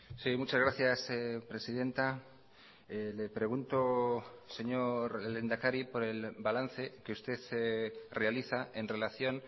sí muchas gracias presidenta le pregunto señor lehendakari por el balance que usted realiza en relación